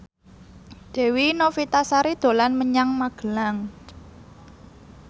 Dewi Novitasari dolan menyang Magelang